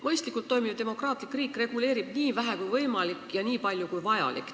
Mõistlikult toimiv demokraatlik riik reguleerib nii vähe kui võimalik ja nii palju kui vajalik.